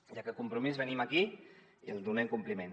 i a aquest compromís venim aquí i li’n donem compliment